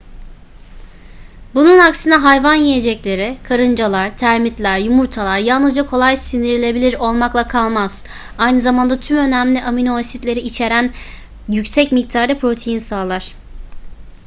bunun aksine hayvan yiyecekleri karıncalar termitler yumurtalar yalnızca kolay sindirilebilir olmakla kalmaz aynı zamanda tüm önemli aminoasitleri içieren yüksek miktarda protein sağlar